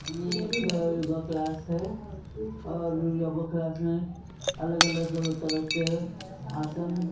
ये एक yoga class है और योगा क्लास में अलग अलग तरह के आसन--